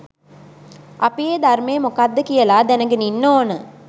අපි ඒ ධර්මය මොකක්ද කියලා දැනගෙන ඉන්න ඕන.